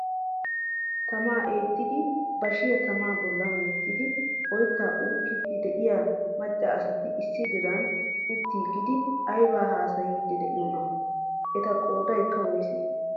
tamaa eettidi bashshiya tamaa bollan wottidi oytta uukkidi de'iyaa macca asati issi diran uttiigidi aybba haassayddi de'iyoona? eta qoodaykka woysse?